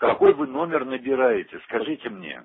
какой вы номер набираете скажите мне